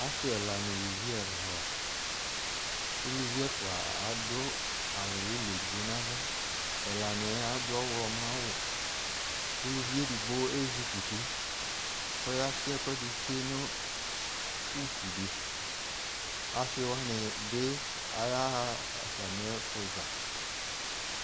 Ase ɛla no uluvi ɛla la Uluvi ɛfua ado awu ulɔ edigbo no ala Ɛla neɛ ado ɔwlɔmɔ awu ko uluvie edigno ezukuti kɔ ya tse ɛkuɛde tsue no utu de Ase wane be ayaha atame ɛfoza